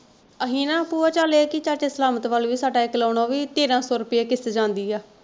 ਅਹੀ ਨਾ ਭੂਆ ਚਲ ਇਹ ਕਿ ਚਾਚਾ ਸਲਾਮਤ ਵੱਲ ਵੀ ਸਾਡਾ ਇੱਕ loan ਹੋ ਵੀ ਤੇਰਾਂ ਸੋ ਰੁਪਇਆ ਕਿਸ਼ਤ ਜਾਂਦੀ ਆ।